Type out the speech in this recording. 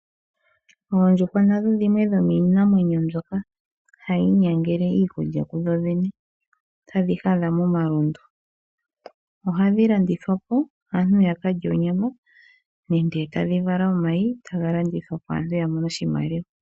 Oondjuhwa nadho dhimwe dhomiinamwenyo mbyoka hayi inyangele iikulya kudho dhene tadhi hadha momalundu, ohadhi landithwapo aantu ya kalye onyama nenge tadhi vala omayi etaga landithwapo aantu yamone oshimaliwa.